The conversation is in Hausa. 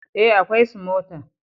eh, akwai smother